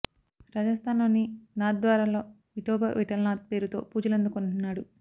రాజస్థాన్ లోని నాథ్ ద్వారా లో విఠోబా విఠలనాథ్ పేరుతో పూజలందుకుంటున్నాడు